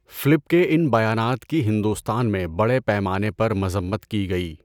Flip کے ان بیانات کی ہندوستان میں بڑے پیمانے پر مذمت کی گئی۔